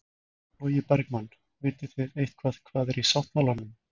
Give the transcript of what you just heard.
Logi Bergmann: Vitið þið eitthvað hvað er í sáttmálanum?